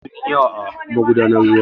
Sauro sun yi yawa a magudan ruwa.